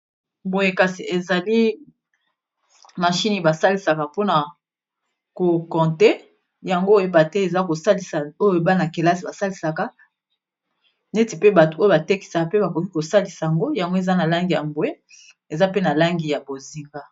boye kasi ezali machini basalisaka pona kokonte yango oyeba te eza kosalisa bana-kelasi basalisaka neti pe bato oyo batekisaka pe bakoki kosalisa yango yango eza na langi ya bwe eza pe na langi ya bozinga. .